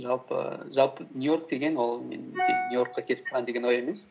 жалпы нью йорк деген ол мен кетіп қалайын деген ой емес